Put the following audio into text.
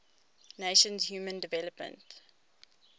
nations human development